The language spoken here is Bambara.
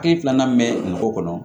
Hakili filanan min bɛ dugu kɔnɔ